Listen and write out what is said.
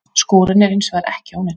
Skúrinn er hins vegar ekki ónýtur